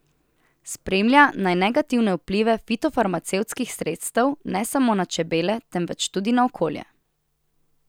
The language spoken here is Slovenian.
Spremlja naj negativne vplive fitofarmacevtskih sredstev ne samo na čebele, temveč tudi na okolje.